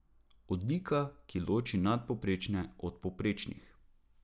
Odlika, ki loči nadpovprečne od povprečnih.